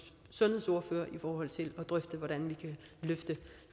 sundhedsordførere i forhold til at drøfte hvordan vi kan løfte